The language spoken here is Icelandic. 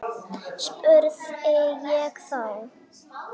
spurði ég þá.